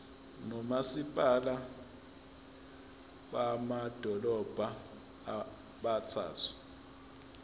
nomasipala bamadolobha abathathu